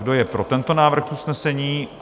Kdo je pro tento návrh usnesení?